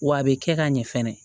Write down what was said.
W'a be kɛ ka ɲɛ fɛnɛ